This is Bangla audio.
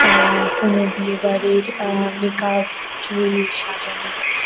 আ কোনো বিয়েবাড়ির আ মেক আপ চুল সাজানো --